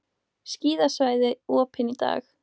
Skíðasvæði opin í dag